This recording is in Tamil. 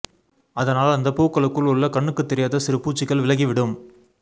அதனால் அந்த பூக்களுக்குள் உள்ள கண்ணுக்குத் தெரியாத சிறு பூச்சிகள் விலகிவிடும்